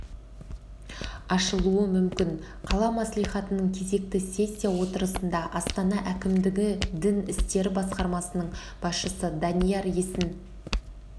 ашылуы мүмкін қала мәслихатының кезекті сессия отырысында астана әкімдігі дін істері басқармасының басшысы данияр есін